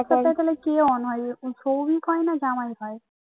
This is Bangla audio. ওই হোয়াটসঅ্যাপ টা তাহলে কি অন হয় সৌভিক হয় না জামায় হয়